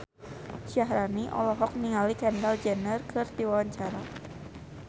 Syaharani olohok ningali Kendall Jenner keur diwawancara